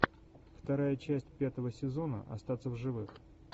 вторая часть пятого сезона остаться в живых